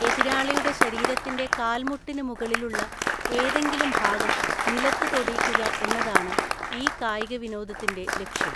എതിരാളിയുടെ ശരീരത്തിന്റെ കാൽമുട്ടിന് മുകളിലുള്ള ഏതെങ്കിലും ഭാഗം നിലത്ത് തൊടീക്കുക എന്നതാണ് ഈ കായിക വിനോദത്തിന്റെ ലക്ഷ്യം.